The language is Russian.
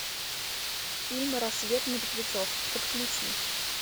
фильм рассвет мертвецов подключи